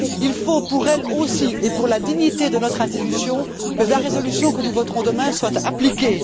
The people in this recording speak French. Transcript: Il faut pour elles aussi, et pour la dignité de notre institution, que la résolution que nous voterons demain soit appliquée.